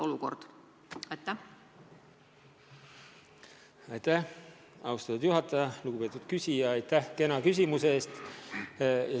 Lugupeetud küsija, aitäh kena küsimuse eest!